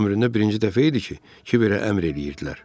Ömründə birinci dəfə idi ki, Kibirə əmr eləyirdilər.